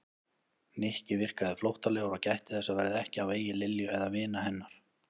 Nikki virkaði flóttalegur og gætti þess að verða ekki á vegi Lilju eða vina hennar.